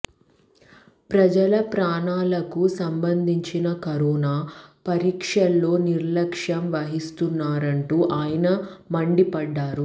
ప్రజల ప్రాణాలకు సంబంధించిన కరోనా పరీక్షల్లో నిర్లక్ష్యం వహిస్తున్నారంటూ ఆయన మండిపడ్డారు